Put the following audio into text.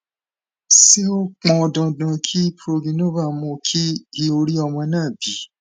ṣé ó pọn dandan kí progynova mú kí iui rí ọmọ náà bí